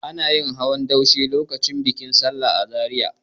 Ana yin hawan daushe lokacin bikin sallah a Zariya.